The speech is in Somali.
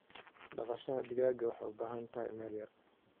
Dhaqashada digaaga waxay u baahan tahay meel yar.